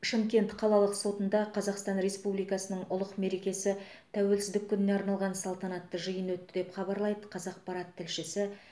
шымкент қалалық сотында қазақстан республикасының ұлық мерекесі тәуелсіздік күніне арналған салтанатты жиын өтті деп хабарлайды қазақпарат тілшісі